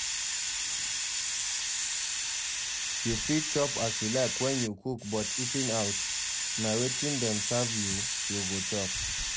You fit chop as you like when you cook but eating out, na wetin Dem serve you, you go chop